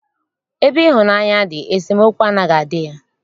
Ebe ịhụnaanya dị, esemookwu anaghị adị ya.